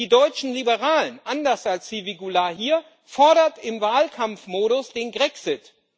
Die deutschen Liberalen, anders als Sylvie Goulard hier, fordern im Wahlkampfmodus den Grexit.